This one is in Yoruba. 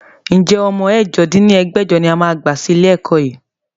Ǹjẹ́ ọmọ ẹ̀jọ dín ní ẹgbẹ́jọ ni ẹ máa gbà sí ilé ẹ̀kọ́ yìí?